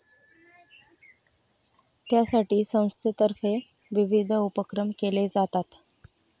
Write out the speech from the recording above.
त्यासाठी संस्थेतर्फे विविध उपक्रम केले जातात.